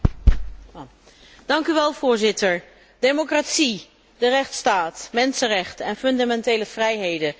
Voorzitter, democratie, de rechtsstaat, mensenrechten en fundamentele vrijheden, daar staat de EU voor.